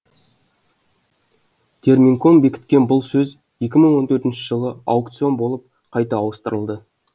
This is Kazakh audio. терминком бекіткен бұл сөз екі мың он төртінші жылы аукцион болып қайта ауыстырылды